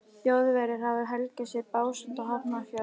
Þjóðverjar hafa helgað sér Básenda og Hafnarfjörð.